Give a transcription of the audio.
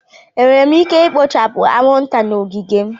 Enwere m ike ikpochapu anwụnta na ogige m?